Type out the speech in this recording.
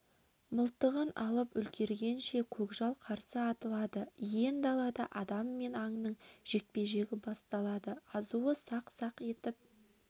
мылтығын алып үлгергенше көкжал қарсы атылады иен далада адам мен аңның жекпе-жегі басталады азуы сақ-сақ етіп